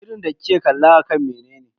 Shirin da kika kalla akan menene?